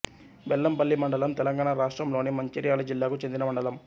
బెల్లంపల్లి మండలం తెలంగాణ రాష్ట్రంలోని మంచిర్యాల జిల్లాకు చెందిన మండలం